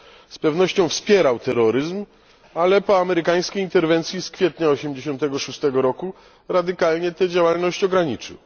Z pewnością wspierał terroryzm, ale po amerykańskiej interwencji z kwietnia 1986 roku radykalnie tę działalność ograniczył.